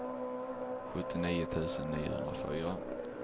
sjuttionio tusen niohundrafyra